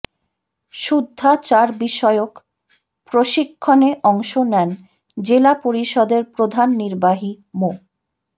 শুদ্ধাচারবিষয়ক প্রশিক্ষণে অংশ নেন জেলা পরিষদের প্রধান নির্বাহী মো